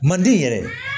Manden yɛrɛ